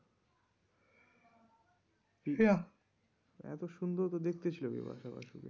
না, এত সুন্দর তো দেখতে ছিল বিপাশা বসু কে।